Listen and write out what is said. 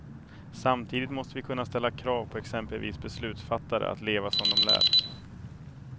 Samtidigt måste vi kunna ställa krav på exempelvis beslutsfattare att leva som de lär.